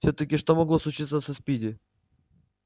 всё-таки что могло случиться со спиди